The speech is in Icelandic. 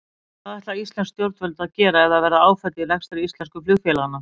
En hvað ætla íslensk stjórnvöld að gera ef það verða áföll í rekstri íslensku flugfélaganna?